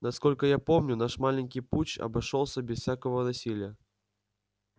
насколько я помню наш маленький путч обошёлся без всякого насилия